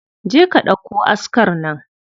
Je ka ɗauko askar nan.